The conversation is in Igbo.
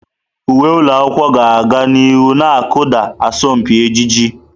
Uwe ụlọ akwụkwọ ga-aga n'ihu na-akụda asọmpi ejiji.